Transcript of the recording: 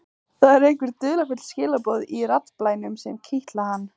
Það eru einhver dularfull skilaboð í raddblænum sem kitla hann.